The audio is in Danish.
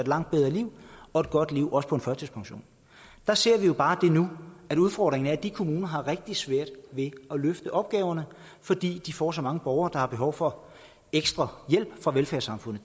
langt bedre liv og et godt liv også på førtidspension der ser vi bare nu at udfordringen er at de kommuner har rigtig svært ved at løfte opgaverne fordi de får så mange borgere der har behov for ekstra hjælp fra velfærdssamfundet